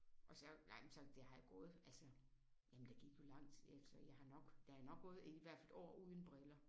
Og så nej men sådan der har jo gået altså jamen der gik jo lang tid altså jeg har nok der er nok gået i hvert fald et år uden briller